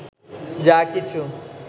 যা কিছু